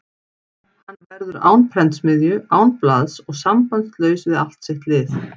Hann verður án prentsmiðju, án blaðs og sambandslaus við allt sitt lið.